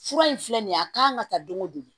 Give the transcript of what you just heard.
Fura in filɛ nin ye a kan ka ta don o don